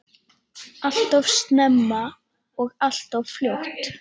Alltof snemma og alltof fljótt.